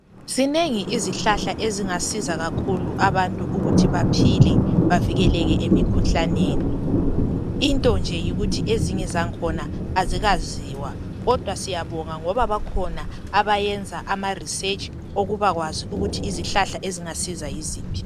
Zinengi izihlahla ezingasiza kakhulu abantu ukuthi baphile bavikeleke emikhuhlaneni. Into nje yikuthi ezinye zakhona azikaziwa kodwa siyabonga ngoba bakhona abayenza ama research okubakwazi ukuthi izihlahla ezingasiza yiziphi.